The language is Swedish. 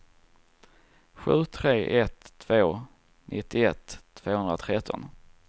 sju tre ett två nittioett tvåhundratretton